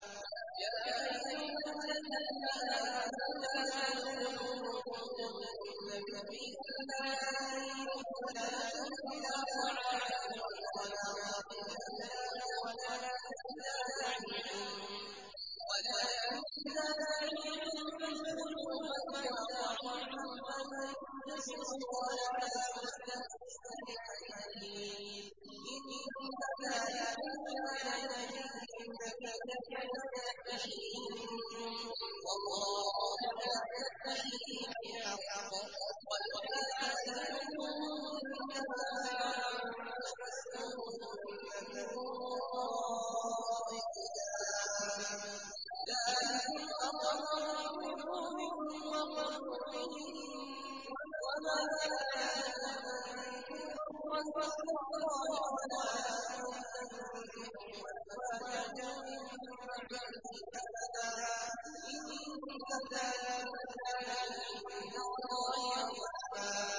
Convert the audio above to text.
يَا أَيُّهَا الَّذِينَ آمَنُوا لَا تَدْخُلُوا بُيُوتَ النَّبِيِّ إِلَّا أَن يُؤْذَنَ لَكُمْ إِلَىٰ طَعَامٍ غَيْرَ نَاظِرِينَ إِنَاهُ وَلَٰكِنْ إِذَا دُعِيتُمْ فَادْخُلُوا فَإِذَا طَعِمْتُمْ فَانتَشِرُوا وَلَا مُسْتَأْنِسِينَ لِحَدِيثٍ ۚ إِنَّ ذَٰلِكُمْ كَانَ يُؤْذِي النَّبِيَّ فَيَسْتَحْيِي مِنكُمْ ۖ وَاللَّهُ لَا يَسْتَحْيِي مِنَ الْحَقِّ ۚ وَإِذَا سَأَلْتُمُوهُنَّ مَتَاعًا فَاسْأَلُوهُنَّ مِن وَرَاءِ حِجَابٍ ۚ ذَٰلِكُمْ أَطْهَرُ لِقُلُوبِكُمْ وَقُلُوبِهِنَّ ۚ وَمَا كَانَ لَكُمْ أَن تُؤْذُوا رَسُولَ اللَّهِ وَلَا أَن تَنكِحُوا أَزْوَاجَهُ مِن بَعْدِهِ أَبَدًا ۚ إِنَّ ذَٰلِكُمْ كَانَ عِندَ اللَّهِ عَظِيمًا